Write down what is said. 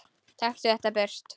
Taktu þetta burt!